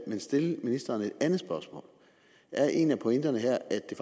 vil stille ministeren et andet spørgsmål er en af pointerne her at det